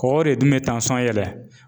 Kɔkɔ de dun bɛ yɛlɛn